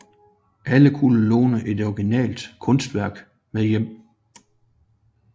Alle kunne låne et originalt kunstværk med hjem